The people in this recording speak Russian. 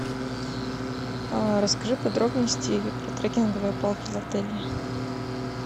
расскажи подробности про трекинговые палки в отеле